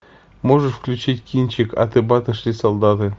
можешь включить кинчик аты баты шли солдаты